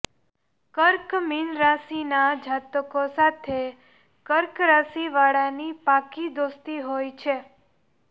કર્કઃ મીન રાશિના જાતકો સાથે કર્ક રાશિવાળાની પાક્કી દોસ્તી હોય છે